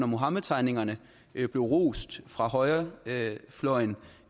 muhammedtegningerne blev rost fra højrefløjen